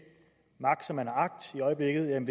magt som man har agt i øjeblikket om